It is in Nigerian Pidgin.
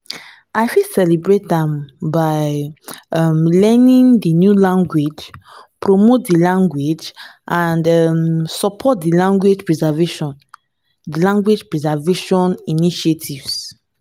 i fit celebrate am by um learning di new languages promote di language and um support di language preservation di language preservation initiatives.